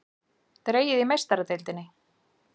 Dregið í Meistaradeildinni